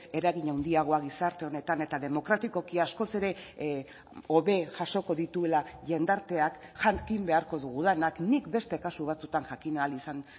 eragin handiagoa gizarte honetan eta demokratikoki askoz ere hobe jasoko dituela jendarteak jakin beharko dugu denak nik beste kasu batzuetan jakin ahal izan